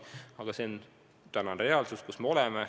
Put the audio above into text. Aga see on tänane reaalsus.